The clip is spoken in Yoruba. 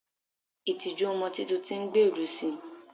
itiju ọmọ Titun ti n gberu si